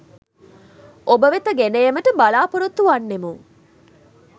ඔබ වෙත ගෙන ඒමට බලාපොරොත්තු වන්නෙමු.